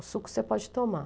O suco você pode tomar.